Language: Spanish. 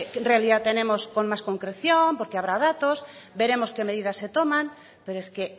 realidad tenemos con más concreción porque habrá datos veremos qué medidas se tomas pero es que